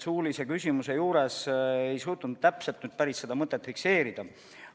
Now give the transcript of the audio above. Suulise küsimuse juures ei suutnud ma nüüd päris täpselt seda mõtet fikseerida.